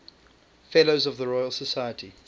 fellows of the royal society